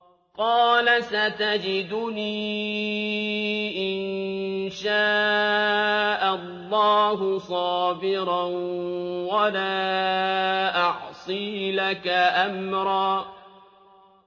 قَالَ سَتَجِدُنِي إِن شَاءَ اللَّهُ صَابِرًا وَلَا أَعْصِي لَكَ أَمْرًا